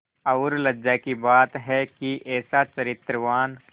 और लज्जा की बात है कि ऐसा चरित्रवान